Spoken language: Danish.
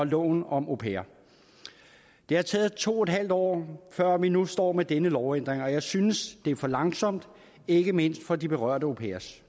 loven om au pairer det har taget to en halv år før vi nu står med denne lovændring og jeg synes det er for langsomt ikke mindst for de berørte au pairers